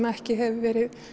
ekki hefur verið